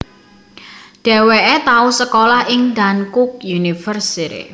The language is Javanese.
Dheweke tau sekolah ing Dankook University